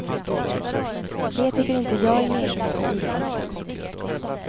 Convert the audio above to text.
Det tycker inte jag är meningen med idrotten.